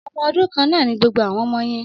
Ọmọ ọdún kan náà ni gbogbo àwọn ọmọ yen